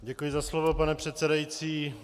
Děkuji za slovo, pane předsedající.